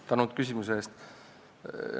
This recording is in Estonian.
Tänan küsimuse eest!